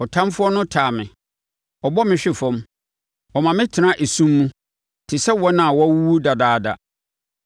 Ɔtamfoɔ no taa me, ɔbɔ me hwe fam; ɔma me tena esum mu te sɛ wɔn a wɔawuwu dadaada.